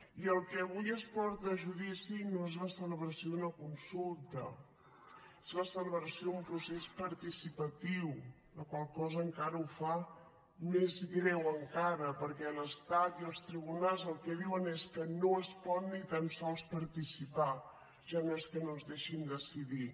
i el que avui es porta a judici no és la celebració d’una consulta és la celebració d’un procés participatiu la qual cosa encara ho fa més greu encara perquè l’estat i els tribunals el que diuen és que no es pot ni tan sols participar ja no és que no ens deixin decidir